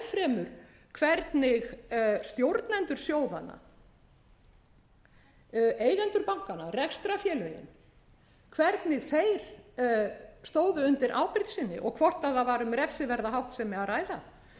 fremur hvernig stjórnendur sjóðanna eigendur bankanna rekstrarfélögin hvernig þeir stóðu undir ábyrgð sinni og hvort þar var um refsiverða háttsemi